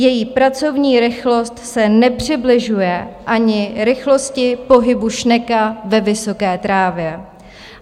Její pracovní rychlost se nepřibližuje ani rychlosti pohybu šneka ve vysoké trávě.